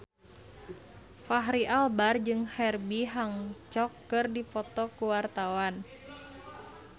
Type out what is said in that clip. Fachri Albar jeung Herbie Hancock keur dipoto ku wartawan